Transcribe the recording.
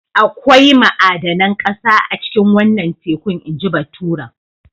Akwai ma'adanan ƙasa a cikin wannan tekun inji baturen.